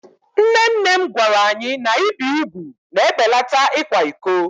Nne nne m gwara anyị na ibi úgwù na-ebelata ịkwa iko.